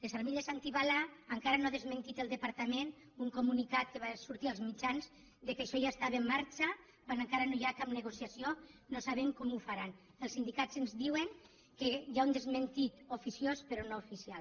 les armilles antibales encara no ha desmentit el departament un comunicat que va sortir als mitjans que això ja estava en marxa quan encara no hi ha cap negociació no sabem com ho faran els sindicats ens diuen que hi ha un desmentit oficiós però no oficial